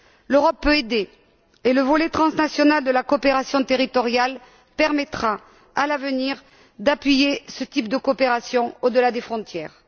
L'Europe peut aider et le volet transnational de la coopération territoriale permettra à l'avenir d'appuyer ce type de coopération au delà des frontières.